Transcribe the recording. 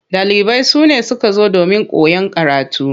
Ɗalibai sune suka zo domin koyan karatu.